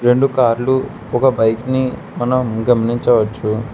రెండు కార్లు ఒక బైక్ ని మనం గమంచించవచ్చు.